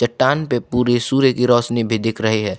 टान पे पूरी सूर्य की रोशनी भी दिख रही है।